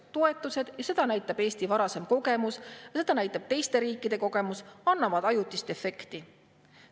Toetused – seda näitab Eesti varasem kogemus ja seda näitab teiste riikide kogemus – annavad ajutist efekti.